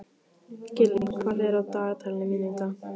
Gillý, hvað er á dagatalinu mínu í dag?